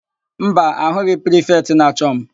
Mba, ahụghị prifetị na-achọ m.